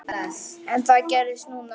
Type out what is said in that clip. En það gerðist núna.